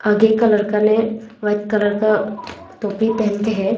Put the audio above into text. आगे कलर का ने व्हाइट कलर का टोपी पहन के है।